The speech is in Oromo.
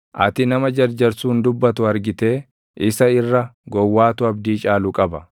Ati nama jarjarsuun dubbatu argitee? Isa irra gowwaatu abdii caalu qaba.